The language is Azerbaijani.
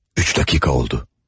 Üç dəqiqə oldu.